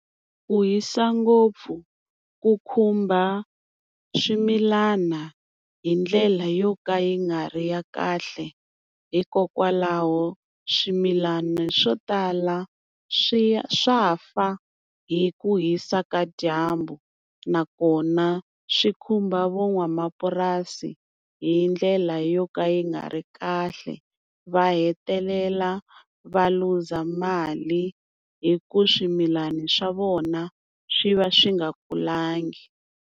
Ku hisa ngopfu ku khumba swimilana hi ndlela yo ka yi nga ri ya kahle, hikokwalaho swimilana swo tala swi swa fa hi ku hisa ka dyambu, nakona swi khumba van'wamapurasi hi ndlela yo ka yi nga ri kahle va hetelela va luza mali hi ku swimilani swa vona swi va swi nga kulangi.